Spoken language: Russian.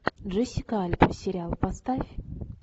джессика альба сериал поставь